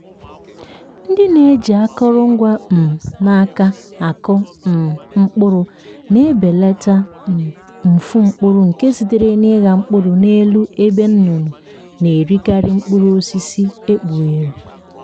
ndị na-eji akụrụngwa um n’aka akụ um mkpụrụ na-ebelata um mfu mkpụrụ nke sitere na ịgha mkpụrụ n'elu ebe nnụnụ na-erikarị mkpụrụ osisi ekpughere.